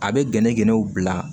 A bɛ gɛnɛgɛnɛw bila